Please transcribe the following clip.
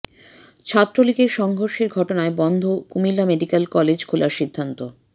ছাত্রলীগের সংঘর্ষের ঘটনায় বন্ধ কুমিল্লা মেডিক্যাল কলেজ খোলার সিদ্ধান্ত